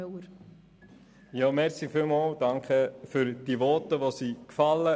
Vielen Dank für die gefallenen Voten.